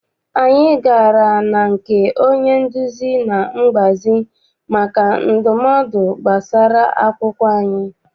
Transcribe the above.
Anyị gara na nke onye nduzi na mgbazi maka ndumodu gbasara akwụkwọ anyị.